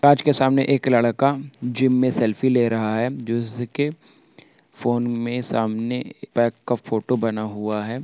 कांच के सामने एक लड़का जिम में सेल्फी ले रहा है जिसके फ़ोन में सामने एक बैग का फोटो बना हुआ है।